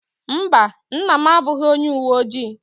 Mba, nna m abụghị onye uwe ojii.